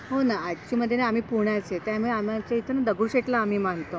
हो ना. ऍक्च्युअली आम्ही पुण्याचे त्यामुळे आमच्या इथून दगडूशेठला आम्ही मानतो.